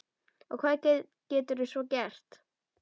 Og hvað geturðu svo gert?